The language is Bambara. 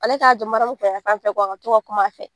Ale k'a jɔ Mariyamu kun yan fan fɛ a ka to ka kum'a fɛ.